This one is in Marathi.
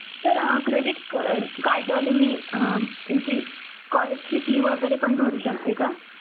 Sir अं Credit card वाल्यांनी अं यांची college ची fee वेगेरे पण भरू शकते का?